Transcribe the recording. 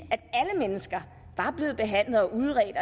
at alle mennesker var blevet behandlet og udredt